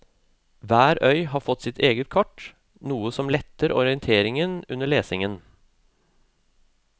Hver øy har fått sitt eget kart, noe som letter orienteringen under lesningen.